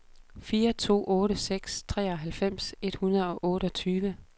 fire to otte seks treoghalvfems et hundrede og otteogtyve